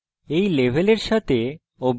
এই level সাথে অভ্যাস করুন